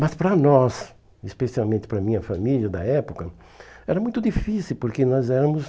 Mas para nós, especialmente para a minha família da época, era muito difícil, porque nós éramos...